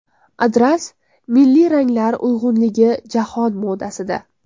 Adras: milliy ranglar uyg‘unligi jahon modasida.